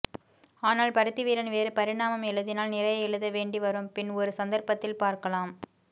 ஆனால் பருத்தி வீரன் வேறு பரிணாமம் எழுதினால் நிறைய எழுத வேண்டி வரும் பின் ஒரு சந்தர்ப்பத்தில் பார்க்கலாம்